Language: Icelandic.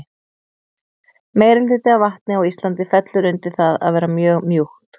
Meirihluti af vatni á Íslandi fellur undir það að vera mjög mjúkt.